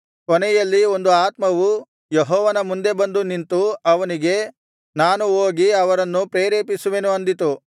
ಕೊನೆಯಲ್ಲಿ ಒಂದು ಆತ್ಮವು ಯೆಹೋವನ ಮುಂದೆ ಬಂದು ನಿಂತು ಅವನಿಗೆ ನಾನು ಹೋಗಿ ಅವರನ್ನು ಪ್ರೇರೇಪಿಸುವೆನು ಅಂದಿತು